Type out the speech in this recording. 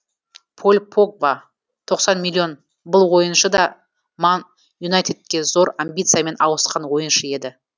поль погба тоқсан миллион бұл ойыншы да ман юнайтедке зор амбициямен ауысқан ойыншы еді